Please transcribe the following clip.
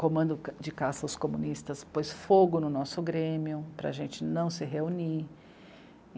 Comando de Caça aos Comunistas pôs fogo no nosso Grêmio, para a gente não se reunir.